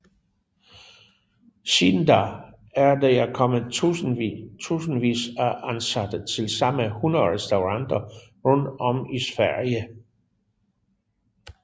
Siden da er der kommet tusindvis af ansatte til samt 100 restauranter rundt om i Sverige